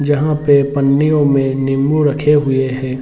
जहाँ पे पन्नियों में निम्बू रखे हुए हैं।